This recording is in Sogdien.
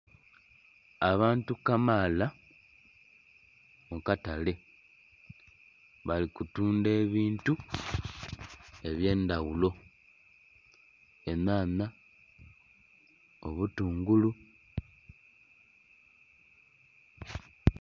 Abantu kamaala mu katale bali kutundha ebintu eby'endaghulo- enhanha, obutungulu.